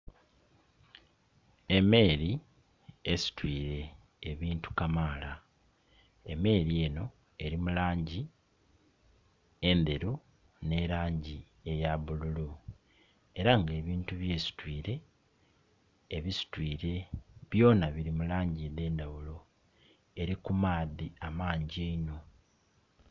Emeeri esitwire ebintu kamaala emeeri eno eri mu langi endheru ne langi eya bululu era nga ebintu byesitwire ebisitwire byona biri mu langi edh'endhaghulo. Eri ku maadhi amangi einho.